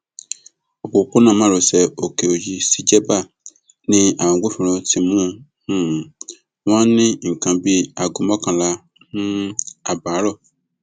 òpópónà márosẹ òkèòyí sí jẹgba ni àwọn agbófinró ti mú um wọn ní nǹkan bíi aago mọkànlá um ààbọ àárọ